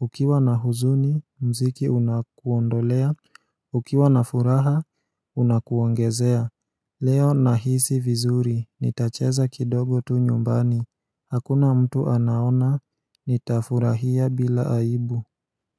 Ukiwa na huzuni, mziki unakuondolea Ukiwa na furaha, unakuongezea Leo na hisi vizuri, nitacheza kidogo tu nyumbani Hakuna mtu anaona, nitafurahia bila aibu.